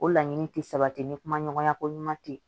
O laɲini tɛ sabati ni kumaɲɔgɔnya ko ɲuman tɛ yen